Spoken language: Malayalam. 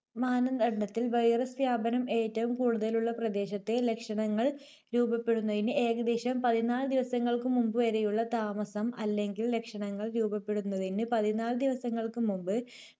മാനദണ്ഡത്തിൽ virus വ്യാപനം ഏറ്റവും കൂടുതലുള്ള പ്രദേശത്തെ ലക്ഷണങ്ങൾ രൂപപ്പെടുന്നതിന് ഏകദേശം പതിനാല് ദിവസങ്ങൾക്കുമുമ്പുവരെയുള്ള താമസം, അല്ലെങ്കിൽ ലക്ഷണങ്ങൾ രൂപപ്പെടുന്നതിന് പതിനാല് ദിവസങ്ങൾക്കുമുമ്പ്